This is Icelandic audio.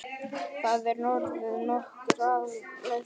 Það er orðið nokkuð áliðið.